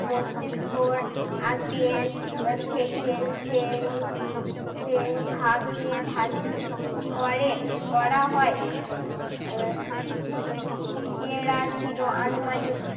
মস্তিস্কর আগের আহ থেকেই সেই সেই ভাগে ভাগই করে করা হয়। আহ উহ এরা ছিল আনুমানিক